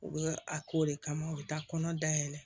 U bɛ a k'o de kama u bɛ taa kɔnɔ dayɛlɛ